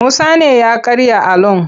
Musa ne ya karya alon.